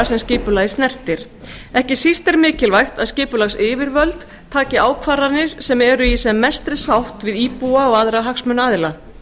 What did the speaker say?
sem skipulagið snertir ekki síst er mikilvægt að skipulagsyfirvöld taki ákvarðanir sem eru í sem mestri sátt við íbúa og aðra hagsmunaaðila